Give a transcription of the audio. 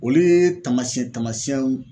Olu ye taamasiyɛn taamasiyɛnw